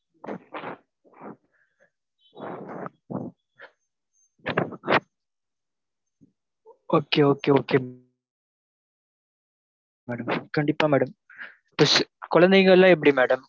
Okay okay okay madam கண்டிப்பா madam plus குழந்தைங்கயெல்லாம் எப்படி madam